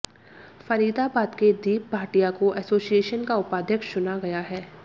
फरीदाबाद के दीप भाटिया को एसोसिएशन का उपाध्यक्ष चुना गया है